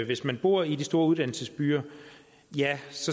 hvis man bor i de store uddannelsesbyer